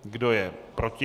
Kdo je proti?